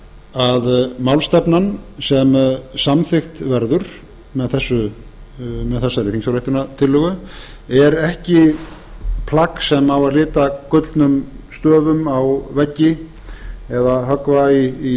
að málstefnan sem samþykkt verður með þessari þingsályktunartillögu er ekki plagg sem á að lita gullnum stöfum á veggi eða höggva í